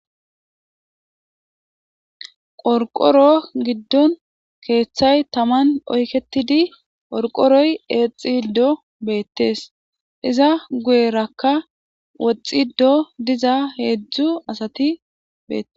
qorqoro giddon keeththay taman oyketidi orqoroy eexido beettes iza guyerakka woxxido diza heedzdzu asati beette